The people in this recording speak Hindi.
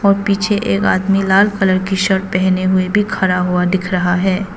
पीछे एक आदमी लाल कलर की शर्ट पहने हुए भी खड़ा हुआ दिख रहा हैं।